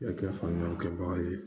Kɛ faamuyali kɛbagaw ye